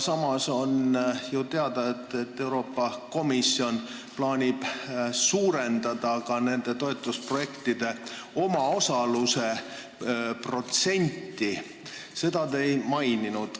Samas on ju teada, et Euroopa Komisjon plaanib suurendada ka nende toetusprojektide omaosaluse protsenti, mida te ei maininud.